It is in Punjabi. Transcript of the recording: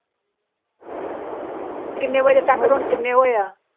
ਕਿੰਨੇ ਵਜੇ ਤੱਕ ਉਹ ਕਿੰਨੇ ਹੋਏ ਆ